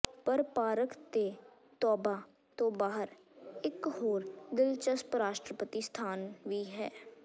ਪਰ ਪਾਰਕ ਦੇ ਤੌਬਾ ਤੋਂ ਬਾਹਰ ਇਕ ਹੋਰ ਦਿਲਚਸਪ ਰਾਸ਼ਟਰਪਤੀ ਸਥਾਨ ਵੀ ਹੈ